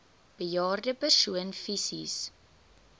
bejaarde persoon fisies